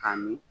K'a min